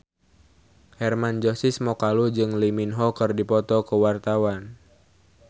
Hermann Josis Mokalu jeung Lee Min Ho keur dipoto ku wartawan